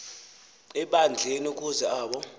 ebandleni ukuze abo